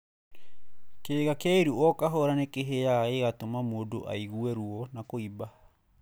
Kĩga kĩa iru o kahora nĩkĩhĩaga gĩgatũma mũndũ aigue ruo na kũimba.